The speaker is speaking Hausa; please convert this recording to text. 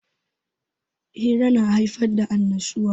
Hira na haifar da annashuwa.